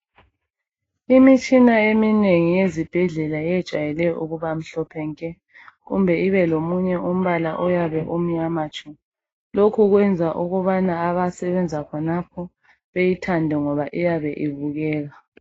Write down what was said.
Imitshina eminengi ezibhedlela ijayele ukubamhlophe nke kumbe ubelomunye umbala oyabe umnyama tshu, lokhu kwenza ukubana abasebenza khonapho beyithande ngoba iyabe ibukeka.